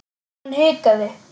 Hún hikaði.